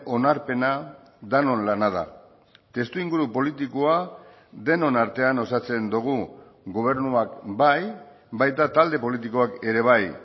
onarpena denon lana da testuinguru politikoa denon artean osatzen dugu gobernuak bai baita talde politikoak ere bai